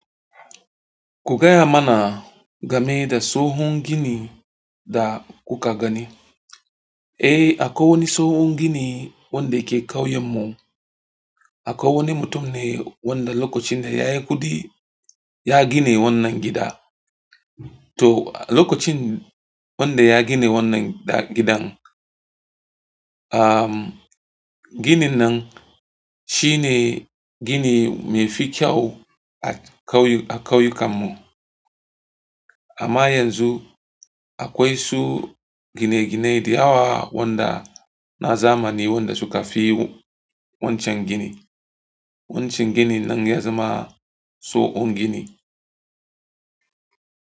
Ku gaya mana game da tsohon gini da kuka gani. Eh, akwai wani tsohon gini wanda ke kauyen mu. Akwai wani mutum ne wanda lokacin da ya yi kuɗi, ya gina wannan gida. To lokacin wanda ya gina wannan gidan am gininan shine ginin mefi kyau a kyauyukan mu amma yanzu akwai su gine-gine da yawa wanda na zamani wanda suka fi wancan gini. Wancan gini din ya zama tsohon gini.